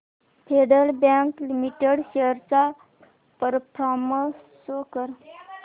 federal Bank Limited shares चा performance show कर